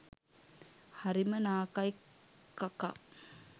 හරිම නාකයි කකා